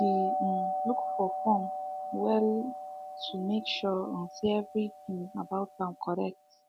he um look the form um well to make sure um say everything about am correct